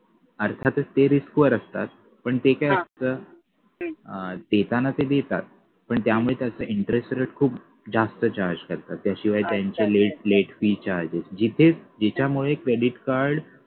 अर्थातच ते risk वर असतात पण ते काय असत अं देताना ते देतात पण त्यामध्ये त्याचा interest rate खूप जास्त charge करतात त्याशिवाय त्यांचे late late fee charges जिथे याच्यामुळे credit card